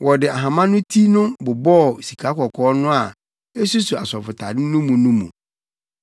Wɔde ahama no ti no bobɔɔ sikakɔkɔɔ no a esuso asɔfotade no mu no mu.